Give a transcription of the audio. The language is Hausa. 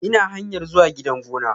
Ina hanyar zuwa gidan gona.